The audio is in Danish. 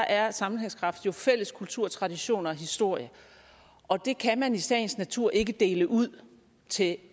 er sammenhængskraft jo fælles kultur traditioner og historie og det kan man i sagens natur ikke dele ud til